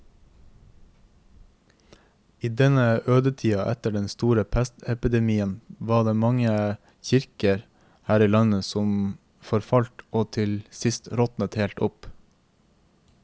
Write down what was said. I denne ødetida etter den store pestepidemien var det mange kirker her i landet som forfalt og til sist råtnet helt opp.